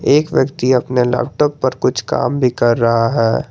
एक व्यक्ति अपने लैपटॉप पर कुछ काम भी कर रहा है।